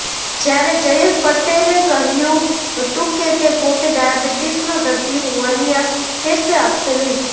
જ્યારે જયેશ પટેલે કહ્યુ હતું કે તે પોતે ડાયાબિટીસનો દર્દી હોવાની આ ટેસ્ટ આપશે નહીં